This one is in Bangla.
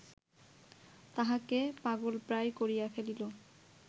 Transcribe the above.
তাহাকে পাগলপ্রায় করিয়া ফেলিল